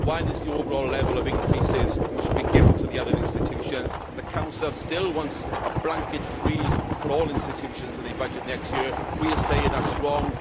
One is the overall level of increases which are to be given to the other institutions. The Council still wants a blanket freeze for all institutions in the budget next year. We are saying that is wrong.